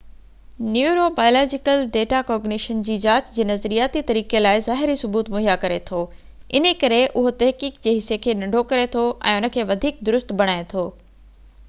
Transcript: neuro biological data cognition جي جاچ جي نظرياتي طريقي لاءِ ظاهري ثبوت مهيا ڪري ٿو انهيءِ ڪري اهو تحقيق جي حصي کي ننڍو ڪري ٿو ۽ ان کي وڌيڪ درست بڻائي ٿو